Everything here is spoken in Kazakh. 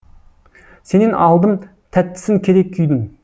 сенен алдым тәттісін керек күйдің